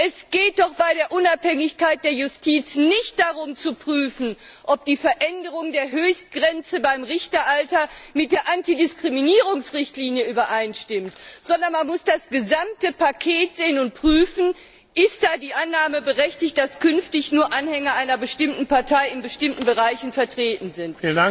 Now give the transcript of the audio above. Es geht doch bei der Unabhängigkeit der Justiz nicht darum zu prüfen, ob die Veränderung der Höchstgrenze beim Richteralter mit der Antidiskriminierungsrichtlinie übereinstimmt, sondern man muss das gesamte Paket sehen und prüfen Ist da die Annahme berechtigt, dass künftig nur Anhänger einer bestimmten Partei in bestimmten Bereichen vertreten sind?